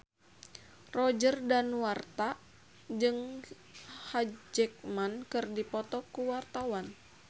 Roger Danuarta jeung Hugh Jackman keur dipoto ku wartawan